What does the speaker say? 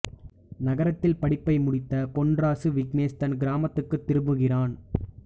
நகரத்தில் படிப்பை முடித்த பொன்ராசு விக்னேஷ் தன் கிராமத்திற்கு திரும்புகிறான்